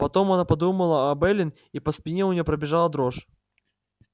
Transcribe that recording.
потом она подумала об эллин и по спине у нее пробежала дрожь